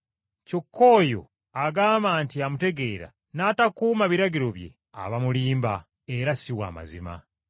Kyokka oyo agamba nti amutegeera n’atakuuma biragiro bye, aba mulimba, era si wa mazima.